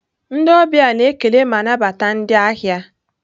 Ndị ọbịa na-ekele ma nabata ndị ahịa.